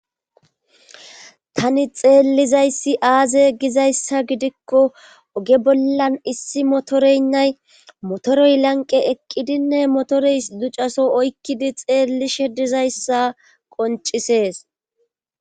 tani xeellizayssi aaze gizayssa gidikko oge bollan issi motoreynnay motoroy lanqe eqqidinne motorey ducaso oykkidi xeellishe dizayssa qoncisees